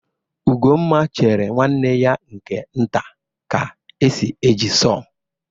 Ugomma chere nwanne ya nke nta ka esi eji saw.